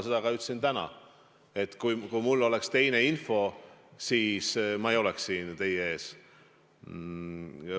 Seda ma ütlesin ka täna, et kui mul oleks teine info, siis ma ei oleks siin teie ees.